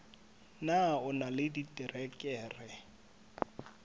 na o na le diterekere